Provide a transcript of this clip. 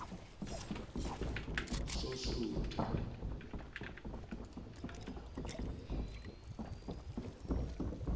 sosudu